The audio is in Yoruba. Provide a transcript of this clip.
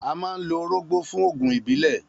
A máa ń lo orógbó fún oògùn ìbílẹ̀.